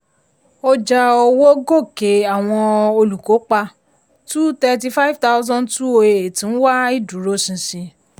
ọjà owó gòkè àwọn olùkópa two thirty five thousand two o eight ń wá ìdúróṣinṣin. um